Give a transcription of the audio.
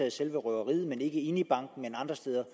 i selve røveriet ikke inde i banken men andre steder